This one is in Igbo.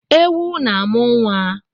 Ewu na-amụ nwa